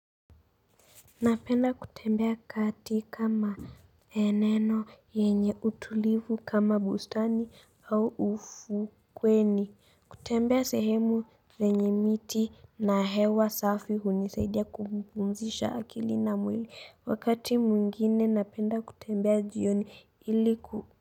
Napenda kutembea katika maeneo yenye utulivu kama bustani au ufukweni kutembea sehemu penye miti na hewa safi hunisaidia kupumzisha akili na mwili wakati mwingine napenda kutembea jioni iliku.